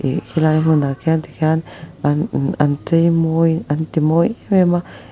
ih khilai hmun ah khian tikhian an ah an cheimawi an ti mawi em em a.